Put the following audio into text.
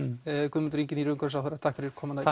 Guðmundur Ingi nýr umhverfisráðherra takk fyrir komuna í